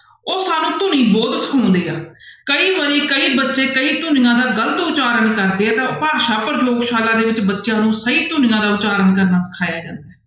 ਉਹ ਸਭ ਧੁਨੀ ਬੋਧ ਸੁਣਦੇ ਆ ਕਈ ਵਾਰੀ ਕਈ ਬੱਚੇ ਕਈ ਧੁਨੀਆਂ ਦਾ ਗ਼ਲਤ ਉਚਾਰਨ ਕਰਦੇ ਆ ਤਾਂ ਭਾਸ਼ਾ ਪ੍ਰਯੋਗਸ਼ਾਲਾ ਦੇ ਵਿੱਚ ਬੱਚਿਆਂ ਨੂੰ ਸਹੀ ਧੁਨੀਆਂ ਦਾ ਉਚਾਰਨ ਕਰਨਾ ਸਿਖਾਇਆ ਜਾਂਦਾ ਹੈ।